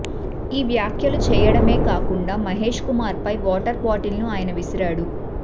ఈ వ్యాఖ్యలు చేయడమే కాకుండా మహేష్ కుమార్ పై వాటర్ బాటిల్ ను ఆయన విసిరాడు